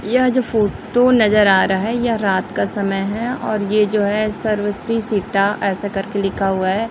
यह जो फोटो नजर आ रहा है यह रात का समय है और यह जो है सर्व श्री सीता ऐसा कर के लिखा हुआ है।